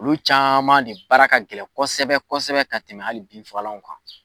Olu caman ne baara ka gɛlɛn kosɛbɛ kosɛbɛ ka tɛmɛ hali binfagalaw kan